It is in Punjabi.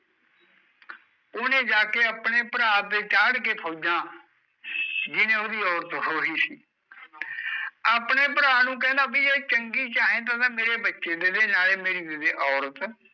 ਉਹਨੇ ਜਾ ਕੇ ਆਪਣੇ ਭਰਾ ਤੇ ਚਾੜ ਕੇ ਫੌਜਾਂ ਜਿਹਣੇ ਓਹਦੀ ਔਰਤ ਖੋਹੀ ਸੀ ਆਪਣੇ ਭਰਾ ਨੂੰ ਕਹਿੰਦਾ ਵੀ ਇਹ ਚੰਗੀ ਚਾਹੇਦੀ ਤਾਂ ਮੇਰੇ ਬੱਚੇ ਦੇਦੇ ਨਾਲੇ ਮੇਰੀ ਦੇਦੇ ਔਰਤ